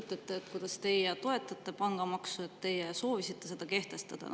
Te räägite sellest, kuidas te toetate pangamaksu ja et teie soovisite seda kehtestada.